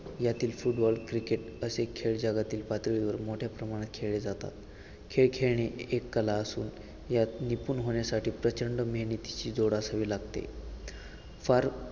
यातील football cricket असे खेळ जगातील पातळीवर मोठ्या प्रमाणात खेळले जातात खेळ खेळणे ही एक कला असून यात निपून होण्यासाठी प्रचंड मेहनतीची जोड असावी लागते फार